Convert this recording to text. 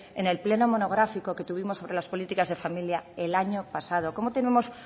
en el pleno monográfico que tuvimos sobre las políticas de familia el año pasado cómo tenemos